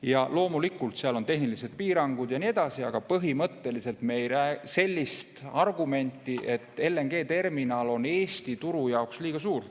Jah, loomulikult seal on tehnilised piirangud ja nii edasi, aga põhimõtteliselt me ei näe sellist argumenti, et LNG‑terminal on Eesti turu jaoks liiga suur.